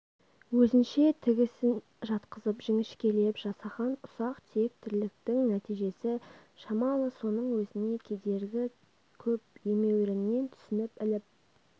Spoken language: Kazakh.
өзінше тігісін жатқызып жіңішкелеп жасаған ұсақ-түйек тірліктің нәтижесі шамалы соның өзіне кедергі көп емеуріннен түсініп іліп